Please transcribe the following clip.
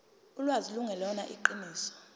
ulwazi lungelona iqiniso